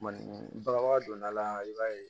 Maninka bagan donna a la i b'a ye